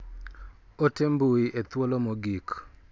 Ote mbui e thuolo mogik.